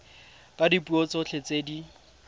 ka dipuo tsotlhe tse di